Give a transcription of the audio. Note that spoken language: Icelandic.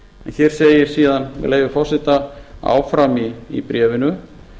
hér segir síðan með leyfi forseta áfram í bréfinu